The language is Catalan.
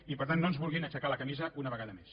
i per tant no ens vulguin aixecar la camisa una vegada més